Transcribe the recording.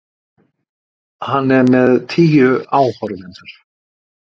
Hann er með tíu áhorfendur.